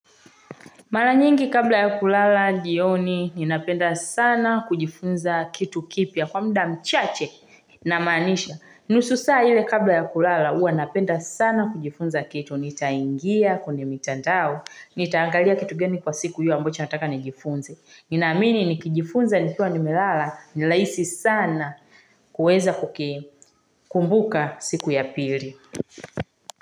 Mala nyingi kabla ya kulala jioni, ninapenda sana kujifunza kitu kipya kwa mda mchache ninamanisha. Nusu saa lile kabla ya kulala, ua napenda sana kujifunza kitu, nitaingia kwenye mitandao, nitaangalia kitu geni kwa siku hio ambacho nataka nijifunze. Ninamini nikijifunza nikiwa nimelala, nilaisi sana kuweza kukikumbuka siku ya pili.